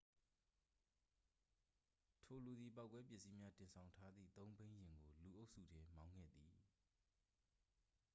ထိုလူသည် ပေါက်ကွဲပစ္စည်းများ တင်ဆောင်ထားသည် သုံးဘီးယာဉ်ကို လူအုပ်စုထဲ မောင်းခဲ့သည်